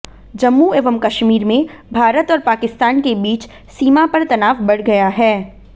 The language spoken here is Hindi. जम्मू एवं कश्मीर में भारत और पाकिस्तान के बीच सीमा पर तनाव बढ़ गया है